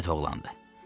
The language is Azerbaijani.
Qiyamət oğlandır.